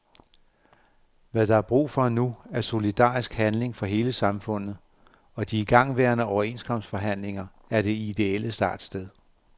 Hvad der er brug for nu, er solidarisk handling fra hele samfundet, og de igangværende overenskomstforhandlinger er det ideelle startsted.